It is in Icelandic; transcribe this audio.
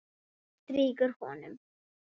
Var bréfið ekki lengra?